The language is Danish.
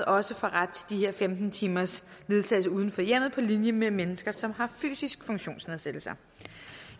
også får ret til de her femten timers ledsagelse uden for hjemmet på linje med mennesker som har fysiske funktionsnedsættelser